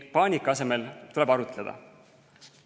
Paanika asemel tuleb arutleda.